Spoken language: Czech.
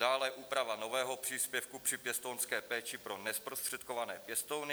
Dále úprava nového příspěvku při pěstounské péči pro nezprostředkované pěstouny.